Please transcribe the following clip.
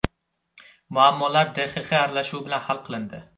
Muammolar DXX aralashuvi bilan hal qilindi.